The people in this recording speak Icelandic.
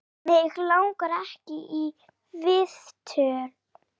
Mig langar ekki í viðtöl.